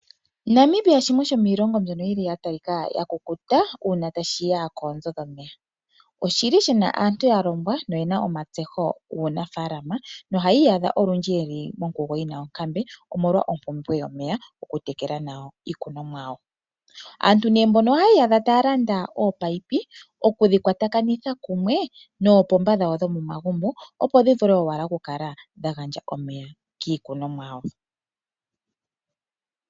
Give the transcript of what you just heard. Namibia shimwe shomiilongo mbyono ya kukuta uuna tashi ya koonzo dhomeya. Oshi na aantu ya longwa noye na omatseho guunafaalama nohaya iyadha olundji ye li monkugo yi na onkambe, omolwa ompumbwe yomeya okutekela iikunomwa yawo. Aantu mboka ohaya iyadha taya landa oopayipi okudhi kwatakanitha kumwe noopomba dhawo dhomomagumbo, opo dhi wape owala okukala dha gandja omeya kiikunomwa yawo.